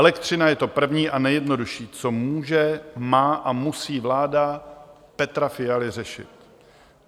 Elektřina je to první a nejjednodušší, co může, má a musí vláda Petra Fialy řešit.